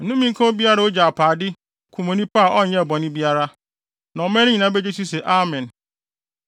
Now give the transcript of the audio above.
“Nnome nka obiara a ogye apaade, kum onipa a ɔnyɛɛ bɔne biara.” Na ɔman no nyinaa begye so se, “Amen!”